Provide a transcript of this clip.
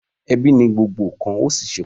Ebi ni gbogbo nkan o sí ṣe pàtàkì.